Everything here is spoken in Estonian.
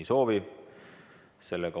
Ei soovi.